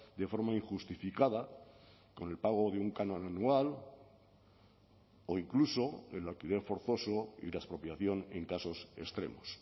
de forma injustificada con el pago de un canon anual o incluso el alquiler forzoso y la expropiación en casos extremos